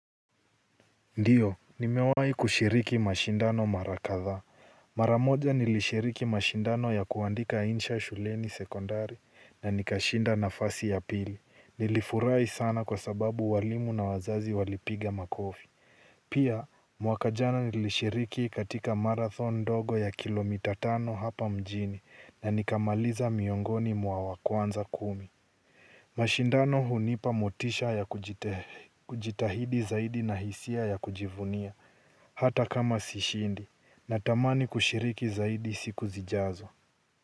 Ndiyo, nimewahi kushiriki mashindano mara kadhaa maramoja nilishiriki mashindano ya kuandika insha shuleni sekondari, na nikashinda nafasi ya pili nilifurahi sana kwa sababu walimu na wazazi walipiga makofi pia mwaka jana nilishiriki katika marathon ndogo ya kilomita tano hapa mjini, na nikamaliza miongoni mwa wakwanza kumi. Mashindano hunipa motisha ya kujitahidi zaidi na hisia ya kujivunia. Hata kama sishindi, natamani kushiriki zaidi siku zijazo.